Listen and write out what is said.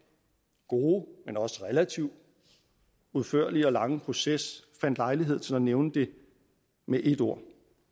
gode men også relativt udførlige og lange proces fandt lejlighed til at nævne det med ét ord